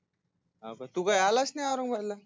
हा का तु काय आलाच नाही औरंगाबादला